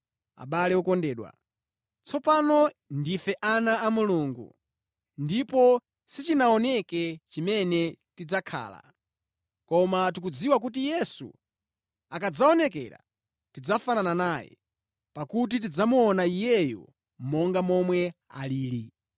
Abale okondedwa, tsopano ndife ana a Mulungu, ndipo sichinaoneke chimene tidzakhala. Koma tikudziwa kuti Yesu akadzaonekera, tidzafanana naye, pakuti tidzamuona Iyeyo monga momwe alili.